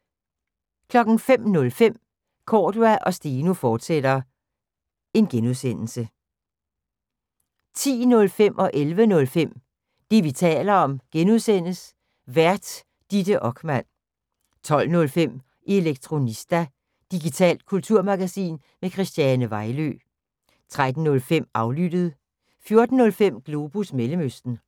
05:05: Cordua & Steno, fortsat (G) 10:05: Det, vi taler om (G) Vært: Ditte Okman 11:05: Det, vi taler om (G) Vært: Ditte Okman 12:05: Elektronista – digitalt kulturmagasin med Christiane Vejlø 13:05: Aflyttet 14:05: Globus Mellemøsten